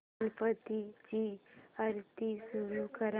गणपती ची आरती सुरू कर